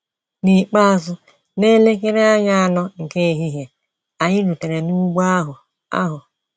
N’ikpeazụ, n’elekere anya anọ nke ehihie, anyị rutere n’ugbo ahụ. ahụ.